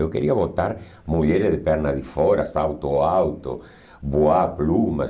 Eu queria botar mulheres de pernas de fora, salto alto, voar plumas.